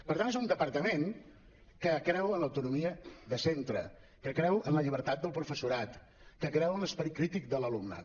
per tant és un departament que creu en l’autonomia de centre que creu en la llibertat del professorat que creu en l’esperit crític de l’alumnat